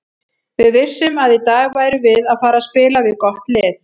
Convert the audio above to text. Við vissum að í dag værum við að fara spila við gott lið.